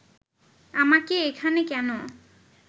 আমাকে এখানে কেন